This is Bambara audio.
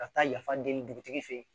Ka taa yafa deli dugutigi fɛ yen